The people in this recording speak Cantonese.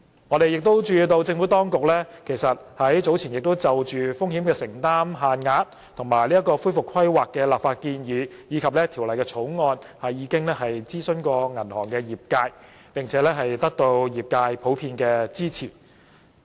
我們注意到政府當局已於早前就風險承擔限額及恢復規劃的立法建議，還有《條例草案》諮詢銀行業界，並且得到業界普遍支持。